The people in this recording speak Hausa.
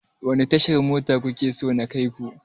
Wani tashar mota kuke so na kai ku?